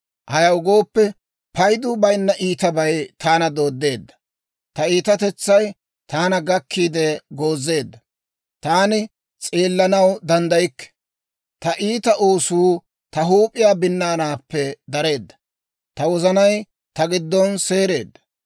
Ayaw gooppe, paydu bayinna iitabay taana dooddeedda. Ta iitatetsay taana gakkiide goozeedda; taani s'eellanaw danddaykke. Ta iita oosuu ta huup'iyaa binnaanaappe dareedda; ta wozanay ta giddon seereedda.